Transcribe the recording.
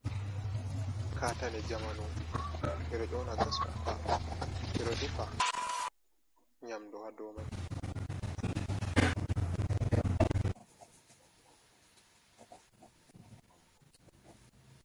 Katani jamanu bedoƴona gas kuka, bedo defira nyamduwa domai